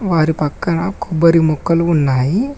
వారి పక్కన కొబ్బరి ముక్కలు ఉన్నాయి.